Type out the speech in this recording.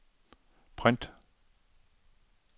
print